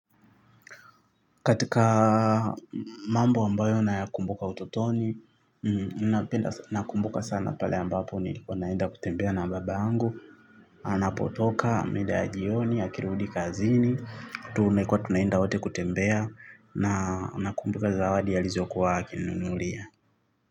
Katika mambo ambayo nakumbuka ututoni, nakumbuka sana pale ambapo nilikuwa naenda kutembea na baba yangu, anapotoka mida ya jioni, akirudi kazini, tulikuwa tunaenda wote kutembea, nakumbuka zawadi alizo kuwa akinunulia.